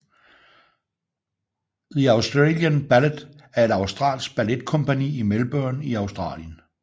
The Australian Ballet er et australsk balletkompagni i Melbourne i Australien